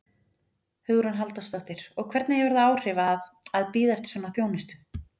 Hugrún Halldórsdóttir: Og hvernig hefur það áhrif að, að bíða eftir svona þjónustu?